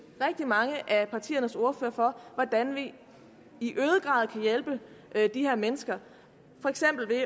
rigtig mange af partiernes ordførere for hvordan vi i øget grad kan hjælpe de her mennesker for eksempel ved